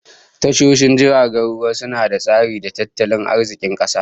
Tashoshin jiragen ruwa suna da tasiri ga tattalin arzikin kasa